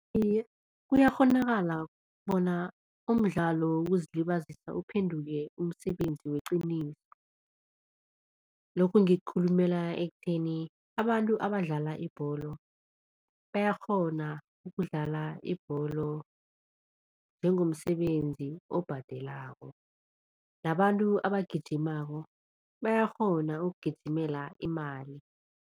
Iye, kuyakghonakala bona umdlalo wokuzilibazisa uphenduke umsebenzi weqiniso. Lokhu ngikukhulumela ekutheni, abantu abadlala ibholo bayakghona ukudlala ibholo njengomsebenzisi obhadelako nabantu abagijimako bayakghona ukugijimela imali.